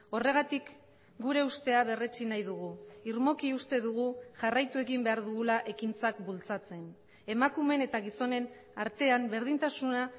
horregatik gure ustea berretsi nahi dugu irmoki uste dugu jarraitu egin behar dugula ekintzak bultzatzen emakumeen eta gizonen artean berdintasuna